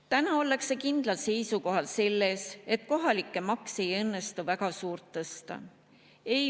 Täna ollakse kindlal seisukohal, et kohalikke makse ei õnnestu suurt tõsta.